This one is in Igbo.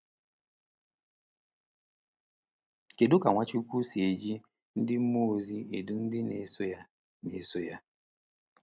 Kedu ka Nwachukwu si eji ndị mmụọ ozi edu ndị na-eso ya? na-eso ya?